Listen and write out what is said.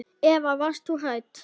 Eva: Varst þú hrædd?